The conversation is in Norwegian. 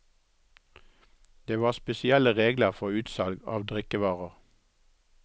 Det var spesielle regler for utsalg av drikkevarer.